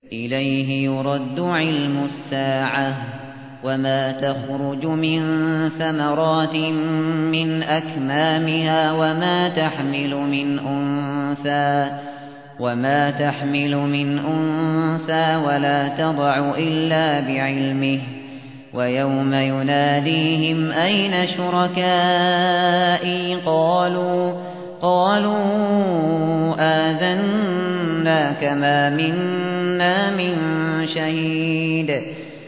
۞ إِلَيْهِ يُرَدُّ عِلْمُ السَّاعَةِ ۚ وَمَا تَخْرُجُ مِن ثَمَرَاتٍ مِّنْ أَكْمَامِهَا وَمَا تَحْمِلُ مِنْ أُنثَىٰ وَلَا تَضَعُ إِلَّا بِعِلْمِهِ ۚ وَيَوْمَ يُنَادِيهِمْ أَيْنَ شُرَكَائِي قَالُوا آذَنَّاكَ مَا مِنَّا مِن شَهِيدٍ